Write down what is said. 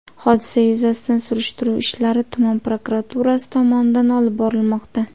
Hodisa yuzasidan surishtiruv ishlari tuman prokuraturasi tomonidan olib borilmoqda.